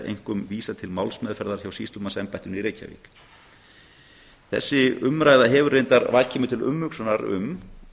einkum vísað til málsmeðferðar hjá sýslumannsembættinu í reykjavík þessi umræða hefur vakið mig til umhugsunar um